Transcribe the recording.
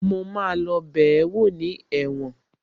Mo máa lọ bẹ̀ẹ́wò ní ẹ̀wọ̀n